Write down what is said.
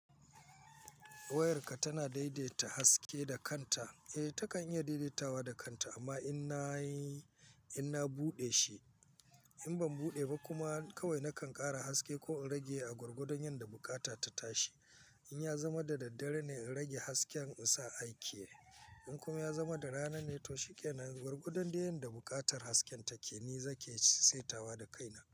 Wayarka tana daidaita haske da kanta. Eh takan iya daidaitawa da kanta amma in na yi, in na buɗe shi, in ban buɗe ba kuma kawai nakan ƙara haske ko in rage a gurgudon yanda bukata ta tashi. In ya zama da daddare ne in rage hasken in sa aiki. In kuma ya zama da rana ne to shikenan, gurgudon yanda buƙatar hasken take ni zaki saitawa da kaina.